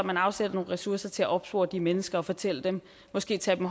man afsætter nogle ressourcer til opspore de mennesker og fortælle dem måske tage dem